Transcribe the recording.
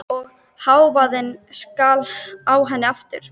Og hávaðinn skall á henni aftur.